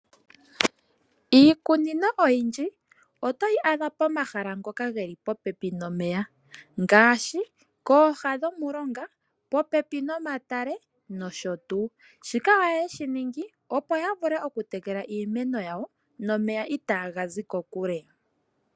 Iikunino oyindji oto yi adha pomahala ngoka ge li popepi nomeya ngaashi kooha dhomulonga, popepi nomatale nosho tuu. Shika ohaye shi ningi opo ya vule oku tekela iimeno yawo nomeya itaa ga zi kokule.